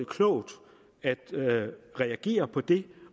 klogt at reagere på det